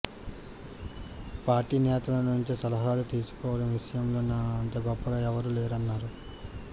party నేతల నుంచి సలహాలు తీసుకోవడం విషయంలో నా అంత గొప్పగా ఎవరూ లేరన్నారు